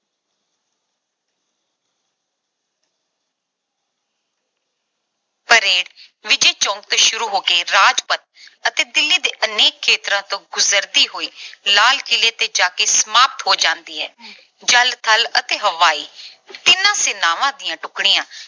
parade Vijay Chowk ਤੋਂ ਸ਼ੁਰੂ ਹੋ ਕੇ ਰਾਜਪਥ ਅਤੇ ਦਿੱਲੀ ਦੇ ਅਨੇਕ ਖੇਤਰਾਂ ਤੋਂ ਗੁਜਰਦੀ ਹੋਈ ਲਾਲ ਕਿਲ੍ਹੇ ਤੇ ਜਾ ਕੇ ਸਮਾਪਤ ਹੋ ਜਾਂਦੀ ਹੈ। ਜਲ, ਥਲ ਅਤੇ ਹਵਾਈ ਤਿੰਨੋਂ ਸੈਨਾਵਾਂ ਦੀਆਂ ਟੁਕੜੀਆਂ